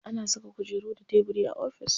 Ana saka kujeru da tebiri a ofis.